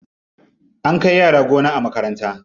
An kai yara gona a makaranta.